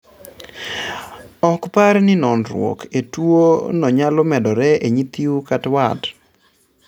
Ok par ni noruok e tuo no nyalo medore e nyithiu kat wat